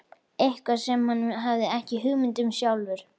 Eitthvað sem hann hafði ekki hugmynd um sjálfur.